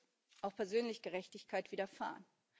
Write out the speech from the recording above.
Ihr muss auch persönlich Gerechtigkeit widerfahren.